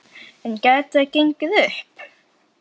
En gæti það gengið upp?